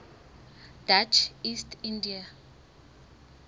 dutch east india